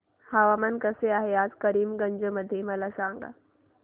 हवामान कसे आहे आज करीमगंज मध्ये मला सांगा